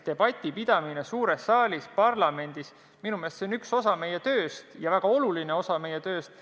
Debati pidamine suures saalis on minu arvates väga oluline osa meie tööst.